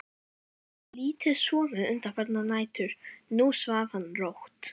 Hann hafði lítið sofið undanfarnar nætur, nú svaf hann rótt.